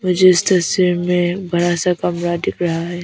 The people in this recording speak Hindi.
मुझे इस तस्वीर में एक बड़ा सा कमरा दिख है।